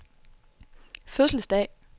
fødselsdag